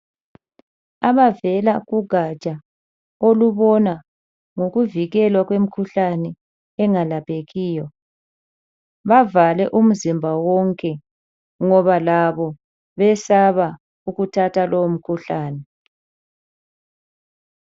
Abavela kugatsha olubona ngokuvikelwa kwemikhuhlane engelaphekiyo bavale umzimba wonke ngoba labo besaba ukuthatha lowu mkhuhlane.